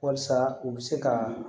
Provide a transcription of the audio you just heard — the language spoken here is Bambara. Walasa u bɛ se ka